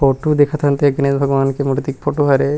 Photo देखत हन तेहा गणेश भगवान के मूर्ति के फोटो हरे।